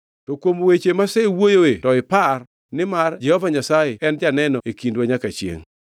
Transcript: To kuom weche mawasewuoyoe to ipar, nimar Jehova Nyasaye en janeno e kindwa nyaka chiengʼ.”